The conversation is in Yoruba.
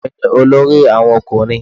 Ọmọ mi ni olórí àwọn ọkùnrin.